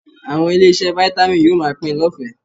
Àwọn ilé-iṣẹ́ Vitamin yóò máa pín in lọ́fẹ̀ẹ́